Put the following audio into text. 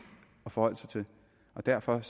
at forholde sig til og derfor